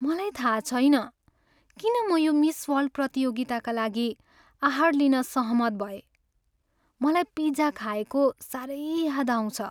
मलाई थाहा छैन किन म यो मिस वर्ल्ड प्रतियोगिताका लागि आहार लिन सहमत भएँ। मलाई पिज्जा खाएको साह्रै याद आउँछ।